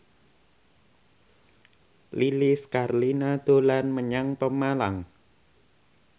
Lilis Karlina dolan menyang Pemalang